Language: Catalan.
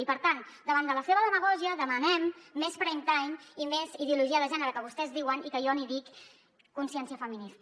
i per tant davant de la seva demagògia demanem més prime time ideologia de gènere que vostès en diuen i que jo n’hi dic consciència feminista